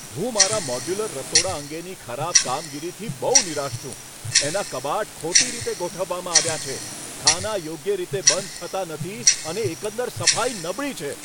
હું મારા મોડ્યુલર રસોડા અંગેની ખરાબ કારીગરીથી બહુ નિરાશ છું. એનાં કબાટ ખોટી રીતે ગોઠવવામાં આવ્યાં છે, ખાનાં યોગ્ય રીતે બંધ થતાં નથી અને એકંદર સફાઈ નબળી છે.